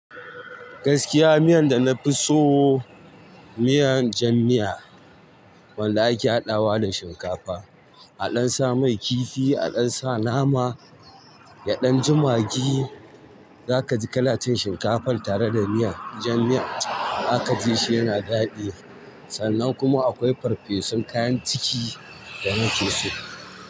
Gaskiya miyan da na fi so miyan jan miya, wanda ake haɗawa da shinkafa, aɗan sa mai kifi, aɗan sa nama, yaɗan jimagi, zaka ji kalan cin shinkafar tare da miyan jan miya, zaka ji shi yana daɗi. Sannan kuma akwai farfesun kayan ciki da nake so.